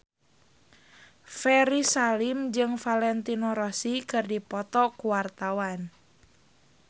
Ferry Salim jeung Valentino Rossi keur dipoto ku wartawan